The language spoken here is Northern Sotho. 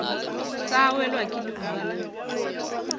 sa welwa ke leuba la